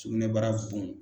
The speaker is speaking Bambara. Sugunɛbara bon.